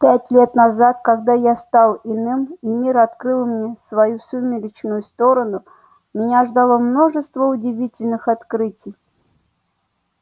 пять лет назад когда я стал иным и мир открыл мне свою сумеречную сторону меня ждало множество удивительных открытий